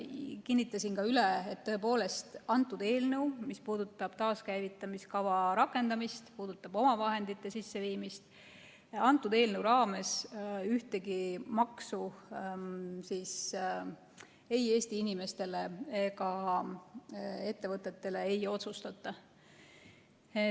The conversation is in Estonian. Kinnitasin ka üle, et tõepoolest, kõnealune eelnõu puudutab taaskäivitamiskava rakendamist ja omavahendite sisseviimist, aga selle eelnõu raames ühtegi maksu Eesti inimestele ega ettevõtetele ei otsustata.